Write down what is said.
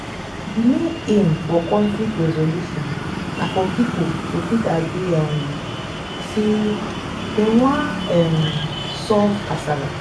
di main aim for conflict resolution na for pipo to fit agree um sey dem wan um solve kasala